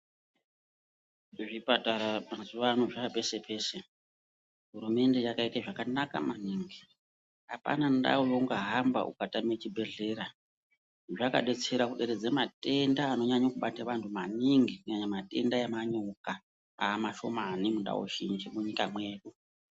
Zvipatara mazuva ano zvavapese pese hurumende yakaita zvakanaka maningi apana ndau yaunga hamba ukatama chibhedhlera zvakadetsera kuderedza matenda anonyanyo kubata antu maningi kunyanya matenda emanyoka amashomani mundau zhinji munyika medu.